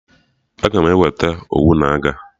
Aga m eweta Owu na aga